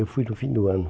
Eu fui no fim do ano.